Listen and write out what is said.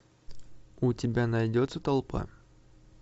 у тебя найдется толпа